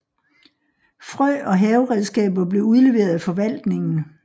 Frø og haveredskaber blev udleveret af forvaltningen